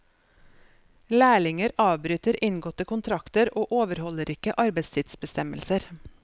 Lærlinger avbryter inngåtte kontrakter og overholder ikke arbeidstidsbestemmelser.